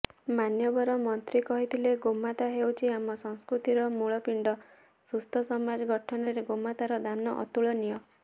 ମାନ୍ୟବର ମନ୍ତ୍ରୀ କହିଥିଲେ ଗୋମାତା ହେଉଛି ଆମ ସଂସ୍କୁତିର ମୂଳପିଣ୍ଡ ସୁସ୍ଥ ସମାଜ ଗଠନରେ ଗୋମାତାର ଦାନ ଅତୁଳନୀୟ